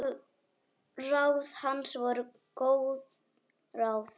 Ráð hans voru góð ráð.